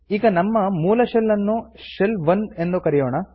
ಈಗ ನಮ್ಮ ಮೂಲ ಶೆಲ್ ನ್ನು ಶೆಲ್ 1 ಎಂದು ಕರೆಯೋಣ